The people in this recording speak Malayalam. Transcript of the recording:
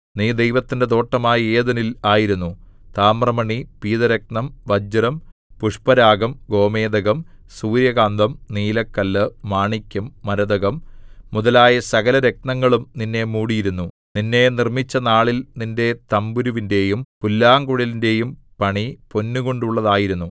നീ ദൈവത്തിന്റെ തോട്ടമായ ഏദെനിൽ ആയിരുന്നു താമ്രമണി പീതരത്നം വജ്രം പുഷ്പരാഗം ഗോമേദകം സൂര്യകാന്തം നീലക്കല്ല് മാണിക്യം മരതകം മുതലായ സകലരത്നങ്ങളും നിന്നെ മൂടിയിരുന്നു നിന്നെ നിർമ്മിച്ചനാളിൽ നിന്റെ തംബുരുവിന്റെയും പുല്ലാംകുഴലിന്റെയും പണി പൊന്നുകൊണ്ടുള്ളതായിരുന്നു